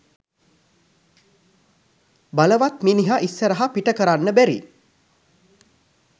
බලවත් මිනිහ ඉස්සරහ පිටකරන්න බැරි